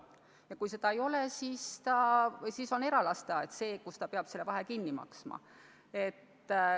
Ja kui seda ei ole, siis peab omavalitsus vahe eralasteaia tasuga kinni maksma.